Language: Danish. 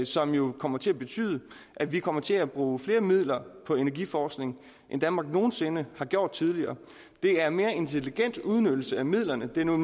som jo kommer til at betyde at vi kommer til at bruge flere midler på energiforskning end danmark nogen sinde har gjort tidligere det er mere intelligent udnyttelse af midlerne det er noget